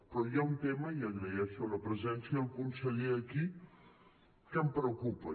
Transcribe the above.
però hi ha un tema i agraeixo la presència del conseller aquí que em preocupa